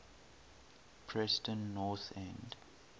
preston north end